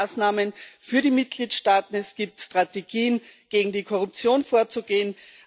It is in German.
Da gibt es Maßnahmen für die Mitgliedstaaten es gibt Strategien, gegen die Korruption vorzugehen